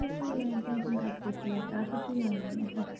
প্রচুর পরিমানে Tension কাজ করছিলো একটা আর কিচ্ছু যায়নি